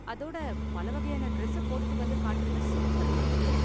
அதோட பலவகையான டிரஸ்ஸ போட்டுட்டு வந்து காட்டுனது சூப்பரா இருந்தது.